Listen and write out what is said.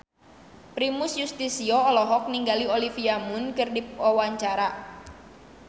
Primus Yustisio olohok ningali Olivia Munn keur diwawancara